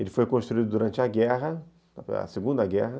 Ele foi construído durante a guerra, a segunda guerra.